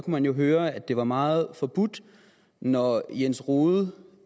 man jo høre at det var meget forbudt når jens rohde